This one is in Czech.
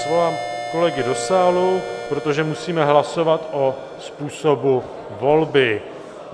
Svolám kolegy do sálu, protože musíme hlasovat o způsobu volby.